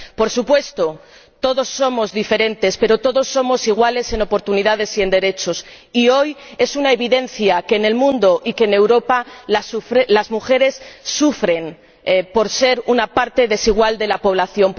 Por supuesto, todos somos diferentes, pero todos somos iguales en oportunidades y en derechos, y hoy es una evidencia que en el mundo y en Europa las mujeres sufren por ser una parte desigual de la población.